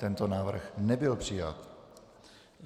Tento návrh nebyl přijat.